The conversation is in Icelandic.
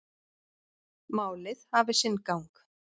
Málið hafi sinn gang.